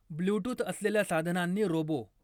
Bluetooth असलेल्या साधनांनी robot